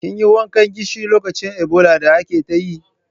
Kin yi wankan gishiri lokacin Ebola da ake ta yi?